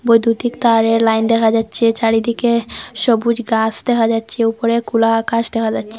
বৈদ্যুতিক তারের লাইন দেখা যাচ্ছে চারিদিকে সবুজ গাছ দেখা যাচ্ছে উপরে খোলা আকাশ দেখা যাচ্ছে।